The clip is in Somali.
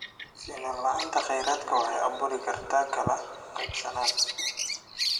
Sinnaan la'aanta kheyraadka waxay abuuri kartaa kala qaybsanaan.